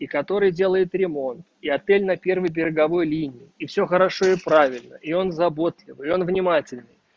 и который делает ремонт и отель на первой береговой линии и все хорошо и правильно и он заботливый он внимательно